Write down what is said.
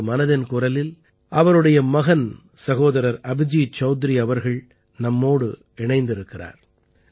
இன்று மனதின் குரல் அவருடைய மகன் சகோதரர் அபிஜீத் சௌத்ரீ அவர்கள் நம்மோடு இணைந்திருக்கிறார்